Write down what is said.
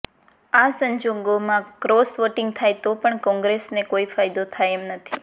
આ સંજોગોમાં cross voting થાય તો પણ કોંગ્રેસને કોઈ ફાયદો થાય એમ નથી